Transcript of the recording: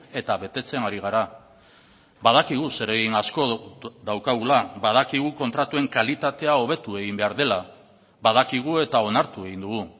eta betetzen ari gara badakigu zeregin asko daukagula badakigu kontratuen kalitatea hobetu egin behar dela badakigu eta onartu egin dugu